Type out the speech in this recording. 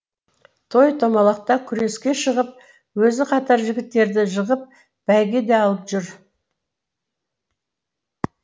той томалақта күреске шығып өзі қатар жігіттерді жығып бәйге де алып жүр